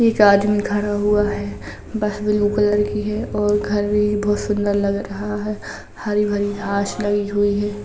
एक आदमी खड़ा हुआ है। बस ब्लू कलर की है और घर भी बहुत सुंदर लग रहा है। हरी भरी घाँस लगी हुई है।